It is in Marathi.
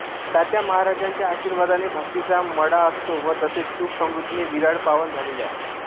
तात्या महाराजांच्या आशिर्वादाने भक्तीचा मळा असतो व तसेच सुख समृद्धीने विराळ पावन झालेले आहे